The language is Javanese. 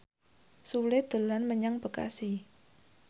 Sule dolan menyang Bekasi